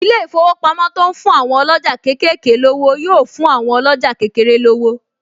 Ilé-ìfowópamọ́ to ń fún àwọn ọlọ́jà kéékèèké lówó yóò fún àwọn ọlọ́jà kékeré lówó